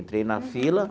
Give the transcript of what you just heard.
Entrei na fila.